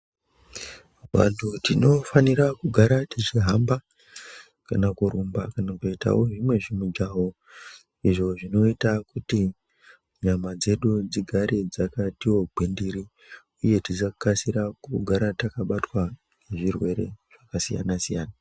Vantu tinofanira kugara tichihamba kana kurumba kana kuitavo zvimwe zvimijaho izvo zvinota kuti nyama dzedu dzigare dzakativo gwindiri, uye tisakasira kugara takabatwa ngezvirwere zvakasiyana-siyana.